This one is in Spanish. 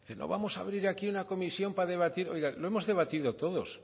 vamos a abrir aquí una comisión para debatir oiga lo hemos debatido todos